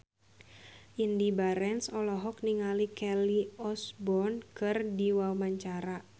Indy Barens olohok ningali Kelly Osbourne keur diwawancara